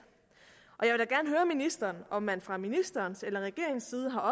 jeg om man fra ministerens eller regeringens side har